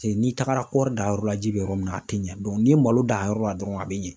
N'i tagara kɔɔri danyɔrɔ la ji bɛ yɔrɔ min na a tɛ ɲɛ n'i ye malo dan a yɔrɔ la dɔrɔn a bɛ ɲɛ.